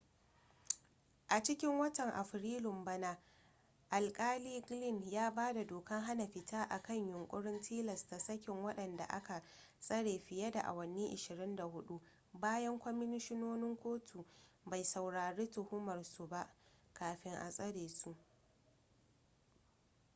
a cikin watan afrilun bana alkali glynn ya ba da dokan hana fita akan yunkurin tilasta sakin wadanda aka tsare fiye da awanni 24 bayan kwamishinan kotu bai saurari tuhumar su ba kafi a tsare su